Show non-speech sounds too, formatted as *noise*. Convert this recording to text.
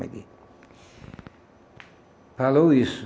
*unintelligible* Falou isso.